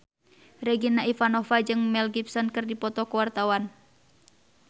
Regina Ivanova jeung Mel Gibson keur dipoto ku wartawan